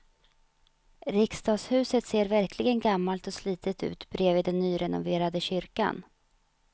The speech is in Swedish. Riksdagshuset ser verkligen gammalt och slitet ut bredvid den nyrenoverade kyrkan.